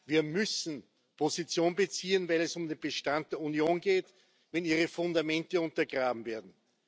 Wir müssen Position beziehen, wenn es um den Bestand der Union geht, wenn ihre Fundamente untergraben werden.